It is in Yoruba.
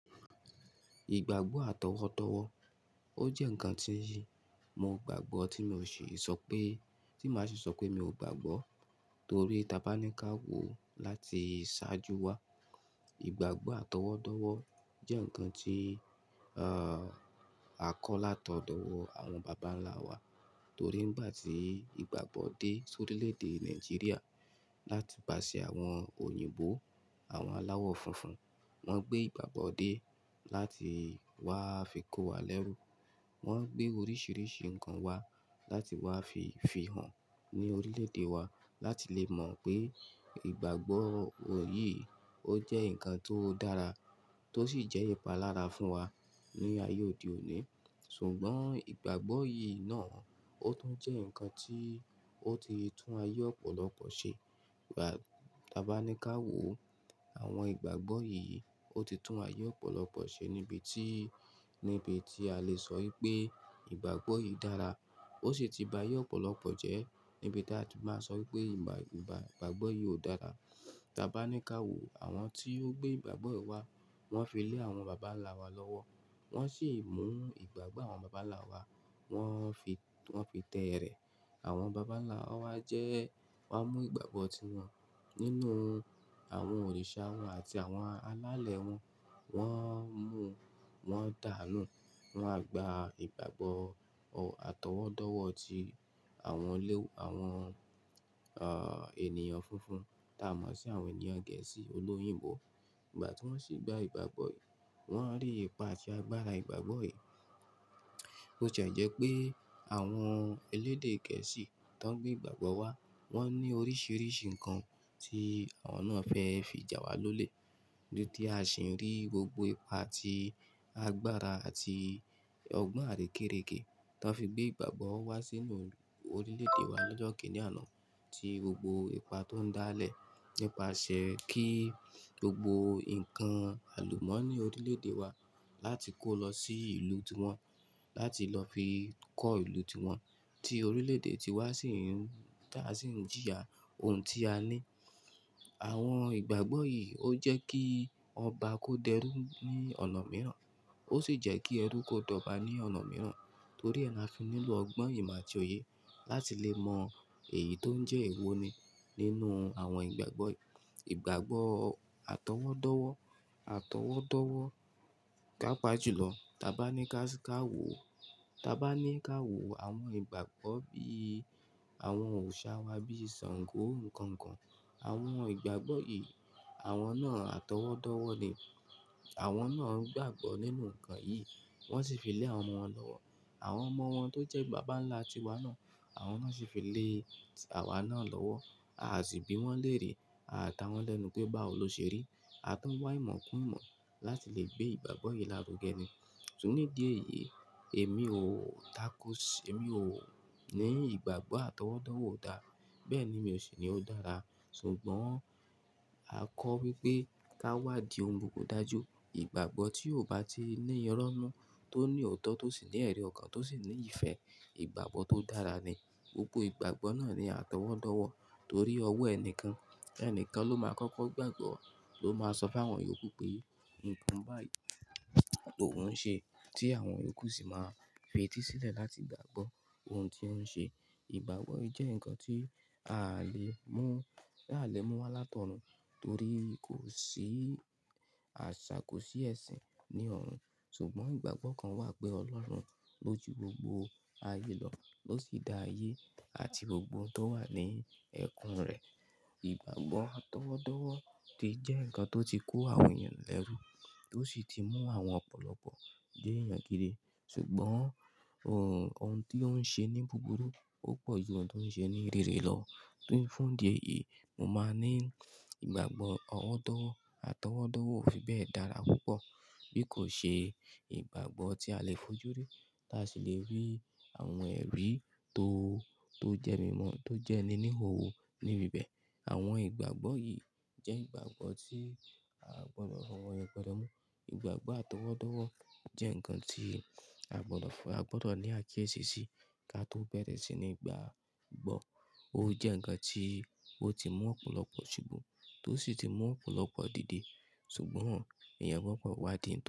Ìgbàgbọ́ àtọwọ́dọ́wọ́, ó jẹ́ ǹkan tíì, mo gbàgbọ́ tí mi ò ṣi sọ pé, tí màá ṣi sọ pé mi ò gbàgbọ́, torí ta bá ní ká wò láti ṣáájú wa. Ìgbàgbọ́ àtọwọ́dọ́wọ́ jẹ́ ǹkan tí, à, a kọ́ látọ̀dọ̀ ọ̀wọ́ àwọn bàbá ńlá wa torí nígbà tí ìgbàgbọ́ dé sórílẹ̀ èdè Nàìjíríà láti pàṣẹ àwọn òyìnbó, àwọn aláwọ funfun, wọ́n gbé ìgbàgbọ́ dé láti wá fi kó wa lẹ́rú. Wọ́n gbé oríṣiríṣi ǹkan wá láti wá fi fi hàn ní orílẹ̀ èdè wa láti lè mọ̀ pé ìgbàgbọ́ ò yìí ó jẹ́ ǹkan tó dára tó sì jẹ́ ìpalára fún wa ní ayé òde òní. Ṣùgbọ́n ìgbàgbọ́ yìí náà ó tún jẹ́ ǹkan tí ó ti tún ayé ọ̀pọ̀lọpọ̀ ṣe. Ìgbà, ta bá ní ká wò, àwọn ìgbàgbọ́ yìí, ó ti tún ayé ọ̀pọ̀lọpọ̀ ṣe níbi tí, níbi tí a lè sọ wípé ìgbàgbọ́ yìí dára. Ó sì ti ba ayé ọ̀pọ̀lọpọ̀ jẹ́ níbi tí a sì máa sọ wípé ìgbà, ìgbà, ìgbàgbọ́ yìí ò dára. Ta bá ní ká wò àwọn tí ó gbé ìgbàgbọ́ wá, wọ́n fi lé àwọn bàbá ńlá wa lọ́wọ́. Wọ́n ṣì mú ìgbàgbọ́ àwọn bàbá ńlá wa, wọ́n fi, wọ́n fi tẹ́ ẹrẹ̀. Àwọn bàbá ńlá wa jẹ́, wa mú ìgbàgbọ́ tí wọn nínú àwọn òrìṣà wọn àti àwọn alálẹ̀ wọn, wọ́n mú, wọn dàá nù. Wọ́n á gba ìgbàgbọ́ àtọwọ́dọ́wọ́ tí àwọn lé, àwọn, à, ènìyàn funfun tá a mọ̀ sí àwọn ènìyàn Gẹ̀ẹ́sì olóyìnbó. Ìgbà tí wọ́n ṣì gba ìgbàgbọ́ yìí, wọ́n rí ipa àti agbára ìgbàgbọ́ yìí. Bo tìẹ jẹ́ pé àwọn elédè Gẹ̀ẹ́sì tó ń gbé ìgbàgbọ́ wá, wọ́n ní oríṣiríṣi ǹkan tí àwọn náà fẹ́ fi jà wá lólè. Bí tí a ṣì ń rí gbogbo ipa àti agbára àti ọgbọ́n àrékérekè tó fi gbé ìgbàgbọ́ wá sínú orílẹ̀ èdè wa lọ́jọ́ kìíní àná, tí gbogbo ipa tó ń dá lẹ̀ nípasẹ̀ kí gbogbo ǹkan àlùmọ́nì orílẹ̀ èdè wa láti kó lọ sí ìlú tiwọn láti lọ fi kọ́ ìlú tiwọn tí orílẹ̀ èdè tiwa sì ń, táa sì ń jìyà ohun tí a ní. Àwọn ìgbàgbọ́ yìí ó jẹ́ kí ọba kó dẹrú ní ọ̀nà mìíràn, ó ṣì jẹ́ kí ẹrú kó dọ̀ba ní ọ̀nà mìíràn torí ẹ la fi nílo ọgbọ́n, ìmo àtì oyè láti lè mọ èyí tó ń jẹ́ èwo ni nínú àwọn ìgbàgbọ́ yìí. Ìgbàgbọ́ àtọwọ́dọ́wọ́, àtọwọ́dọ́wọ́ pápa jùlọ, ta bá ní ká, ká wò, ta bá ní ká wò àwọn ìgbàgbọ́ bíi àwọn òrìṣà wa bíi Sàngó, nkankan. Àwọn ìgbàgbọ́ yìí, àwọn náà àtọwọ́dọ́wọ́ ni. Àwọn náà ń gbàgbọ́ nínú ǹkan yìí, wọ́n ṣì fi lẹ́ àwọn ọmọ wọn lọ́wọ́. Àwọn ọmọ wọn tó jẹ́ bàbá ńlá tiwa náà, àwọn náà ṣì fi lé àwa náà lọ́wọ́. A sì bí wọ́n léèrè, a ta wọ́n lẹ́nu pé, báwo lo ṣe rí. A tún wá ìmọ̀ kún ìmọ̀ láti lè gbé ìgbàgbọ́ yìí lárugẹ ni. Ṣùgbọ́n ní di èyí, èmi ò táko, èmi ò ní ìgbàgbọ́ àtọwọ́dọ́wọ́ o dáa. Bẹ́ẹ̀ ni mi ò sì ní ó dára. Ṣùgbọ́n a kọ́ wípé ká wádìí ohun gbogbo dájú. Ìgbàgbọ́ tí ò bá ti ní ìrọ́ n nu, tó ní ọ̀tọ̀, tó sì ní ẹ̀rí ọkàn, tó sì ní ìfẹ́, ìgbàgbọ́ tó dára ni. Gbogbo ìgbàgbọ́ náà ni àtọwọ́dọ́wọ́ torí ọwọ́ ẹni kan, ẹni kan ló máa kọ́kọ́ gbàgbọ́, ló máa sọ fún àwọn ìyókù pé nǹkan báyìí òun ń ṣe tí àwọn ìyókù sì máa fetísílẹ̀ láti gbàgbọ́ ohun tí ó ń ṣe. Ìgbàgbọ́ jẹ́ ǹkan tí aa lè mú, ta alè mú wá látọ̀run torí kò sí àṣà, kò sí ẹ̀sìn ní ọ̀run. Ṣùgbọ́n ìgbàgbọ́ kan wà pé Ọlọ́run ló ju gbogbo ayé lọ, ló sì dá ayé àti gbogbo ohun tó wà ní ẹ̀kún rẹ̀. Ìgbàgbọ́ àtọwọ́dọ́wọ́ ti jẹ́ ǹkan tó ti kó àwọn èèyàn lẹ́rú tó ṣì ti mú àwọn ọ̀pọ̀lọpọ̀ ni eyàn gídi. Ṣùgbọ́n ohun, ohun tí ó ń ṣe ní búburú ò pọ̀ ju ohun tí ó ń ṣe ní rere lọ. Fún idí èyì, mo máa ní ìgbàgbọ́ ọwọ́dọ̀wọ́, àtọwọ́dọ́wọ́ ò fi bẹ́ẹ̀ dára púpọ̀ bí kò ṣe ìgbàgbọ́ tí a lè fojú rí tá a sì lè rí àwọn ẹ̀rí tó, tó jẹ́ mímọ́, tó jẹ́ níní o níbi bẹ́ẹ̀. Àwọn ìgbàgbọ́ yìí jẹ́ ìgbàgbọ́ tí a gbọdọ̀ fi owọ yepẹ̀rẹ́ mú. Ìgbàgbọ́ àtọwọ́dọ́wọ́ jẹ́ ǹkan tí a gbọdọ̀ fún, a gbọdọ̀ ní àkiyési ṣi ká tó bẹ̀rẹ̀ sí ní gba gbọ́. Ó jẹ́ ǹkan tí ó ti mú ọ̀pọ̀lọpọ̀ ṣubú tó sì ti mú ọ̀pọ̀lọpọ̀ dìde. Ṣùgbọ́n èèyàn gbdọ̀ wá dì.